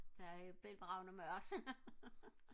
der er bælgragende mørkt